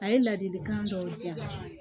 A ye ladilikan dɔw di yan